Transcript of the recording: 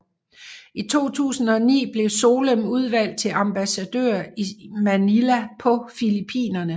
I 2009 blev Solem udnævnt til ambassadør i Manila på Filippinerne